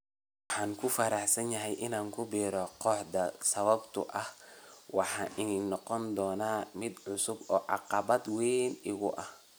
Waan ku faraxsanahay inaan ku biiro kooxdaan sababtoo ah waxay ii noqon doontaa mid cusub oo caqabad weyn igu ah.